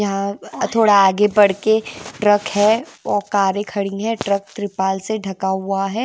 यहां थोड़ा आगे बढ़के ट्रक है वो कारें खड़ी हैं ट्रक ट्रिपाल से ढका हुआ है।